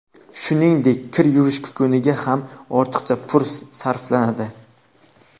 Shuningdek, kir yuvish kukuniga ham ortiqcha pul sarflanadi.